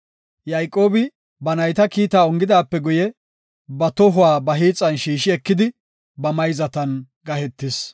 Yayqoobi, ba nayta kiitaa ongidaape guye ba tohuwa ba hiixan shiishi ekidi, ba mayzatan gahetis.